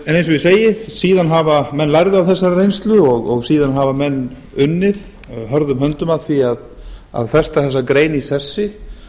en eins og ég segi menn lærðu af þessari reynslu og síðan hafa menn unnið hörðum höndum að því að festa þessa grein í sessi